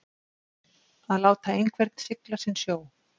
Að láta einhvern sigla sinn sjó